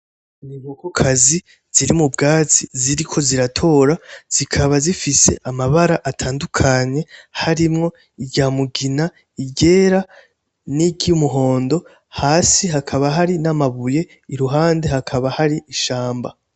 Inkoko kazi ziri mu bwatsi ziriko ziratora zikaba zifise amabara atandukanye harimwo iryamugina iryera n'iryumuhondo, hasi hakaba hari n'amabuye, iruhande hakaba hari ishamba.